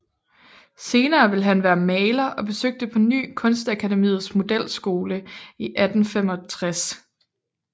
Senere ville han være maler og besøgte på ny Kunstakademiets modelskole i 1865